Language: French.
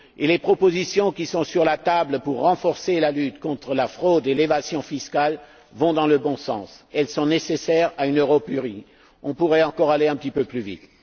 Les propositions qui sont sur la table pour renforcer la lutte contre la fraude et l'évasion fiscale vont dans le bon sens. Elles sont nécessaires à une Europe unie. On pourrait aller encore un petit peu plus vite.